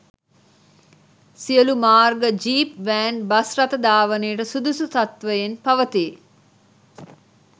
සියලූ මාර්ග jeep van bus රථ ධාවනයට සුදුසු තත්ත්වයෙන් පවතී